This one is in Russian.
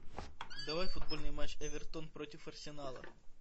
давай футбольный матч эвертон против арсенала